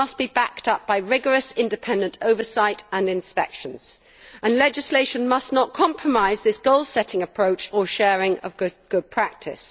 This must be backed up by rigorous independent oversight and inspections. Legislation must not compromise this goal setting approach or sharing of good practice.